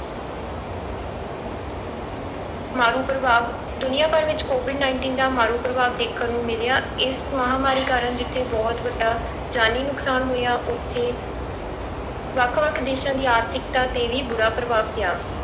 ਮਾਰੂ ਪ੍ਰਭਾਵ, ਦੁਨੀਆਂ ਭਰ ਵਿੱਚ covid nineteen ਦਾ ਮਾਰੂ ਪ੍ਰਭਾਵ ਦੇਖਣ ਨੂੰ ਮਿਲਿਆ ਇਸ ਮਹਾਂਮਾਰੀ ਕਾਰਨ ਜਿੱਥੇ ਬਹੁਤ ਵੱਡਾ ਜਾਨੀ ਨੁਕਸਾਨ ਹੋਇਆ ਉੱਥੇ ਵੱਖ ਵੱਖ ਦੇਸਾਂ ਦੀ ਆਰਥਿਕਤਾ ਤੇ ਵੀ ਬੁਰਾ ਪ੍ਰਭਾਵ ਪਿਆ।